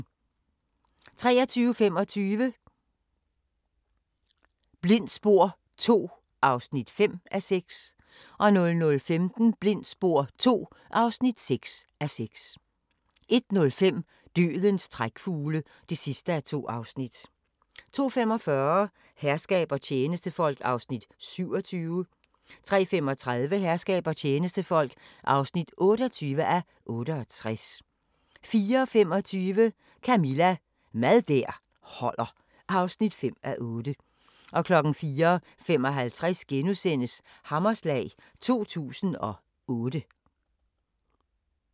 23:25: Blindt spor II (5:6) 00:15: Blindt spor II (6:6) 01:05: Dødens trækfugle (2:2) 02:45: Herskab og tjenestefolk (27:68) 03:35: Herskab og tjenestefolk (28:68) 04:25: Camilla – Mad der holder (5:8) 04:55: Hammerslag 2008 *